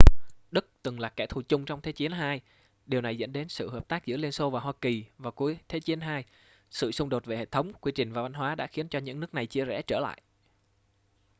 đức từng là kẻ thù chung trong thế chiến ii điều này dẫn đến sự hợp tác giữa liên xô và hoa kỳ vào cuối thế chiến ii sự xung đột về hệ thống quy trình và văn hóa đã khiến cho những nước này chia rẽ trở lại